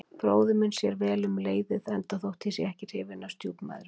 Bróðir minn sér vel um leiðið, enda þótt ég sé ekki hrifinn af stjúpmæðrum.